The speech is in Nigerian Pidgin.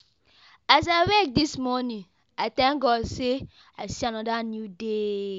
As I wake this morning, I thank God say I see another new day.